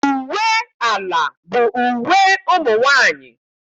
Uwe ala bụ uwe ụmụ nwaanyị.